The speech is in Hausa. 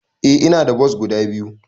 Eh ina da bos guda biyu.